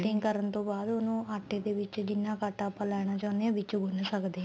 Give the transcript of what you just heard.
cutting ਕਰਨ ਤੋਂ ਬਾਅਦ ਉਹਨੂੰ ਆਟੇ ਦੇ ਵਿੱਚ ਜਿੰਨਾ ਕ ਆਟਾ ਆਪਾਂ ਲੈਣਾ ਚਾਉਂਨੇ ਹਾਂ ਵਿੱਚ ਗੁੰਨ ਸਕਦੇ ਆ